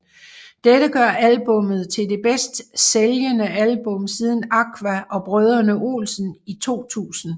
Dette gør albummet til det bedst sælgende album siden Aqua og Brødrene Olsen i 2000